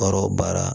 Baara o baara